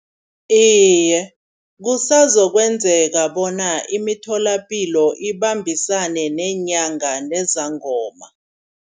Iye kusazoyenzeka bona imitholapilo ibambisane neenyanga nezangoma.